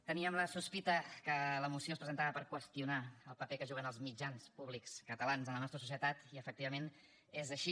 teníem la sospita que la moció es presentava per qüestionar el paper que juguen el mitjans públics catalans en la nostra societat i efectivament és així